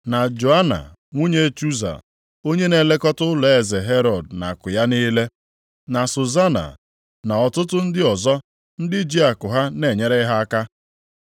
na Joana nwunye Chuza onye na-elekọta ụlọeze Herọd na akụ ya niile, na Suzana, na ọtụtụ ndị ọzọ ndị ji akụ ha na-enyere ha aka.